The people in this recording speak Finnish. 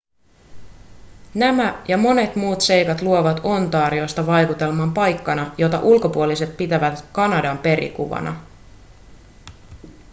nämä ja monet muut seikat luovat ontariosta vaikutelman paikkana jota ulkopuoliset pitävät kanadan perikuvana